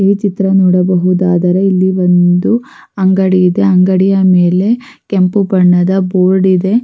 ಈ ಚಿತ್ರ ನೋಡಬಹುದಾದರೆ ಇಲ್ಲಿ ಒಂದು ಅಂಗಡಿ ಇದೆ ಅಂಗಡಿಯ ಮೇಲೆ ಕೆಂಪು ಬಣ್ಣದ ಬೋರ್ಡ್ ಇದೆ.